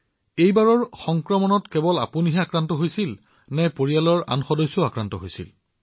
এই ঢৌত কেৱল আপোনাৰেই নম্বৰ লাগিছিল নে পৰিয়ালৰ আন সদস্যৰো হৈছিল